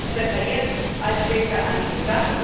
Wir sollten es besser jetzt, als später angehen.